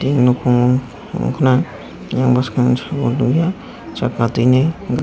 e nokongo nogkha na eyang boskang saka teimoi.